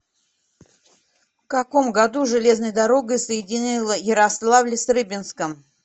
в каком году железная дорога соединила ярославль с рыбинском